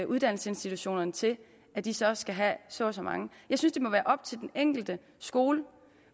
uddannelsesinstitutionerne til at de så skal have så og så mange jeg synes det må være op til den enkelte skole